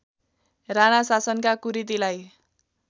राणा शासनका कुरीतिलाई